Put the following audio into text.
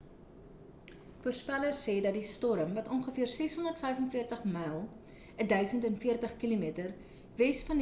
voorspellers sê dat die storm wat ongeveer 645 myl 1040 km wes van die kaap verde eilande geleë is sal waarskynlik ontbind word voordat dit enige land-areas bedreig